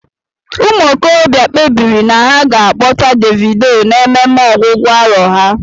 Ụmụ okorobịa kpebiri na ha ga akpọta Davido na ememe ọgwụgwụ arọ há.